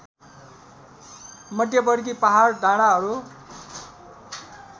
मध्यवर्ती पहाड डाँडाहरू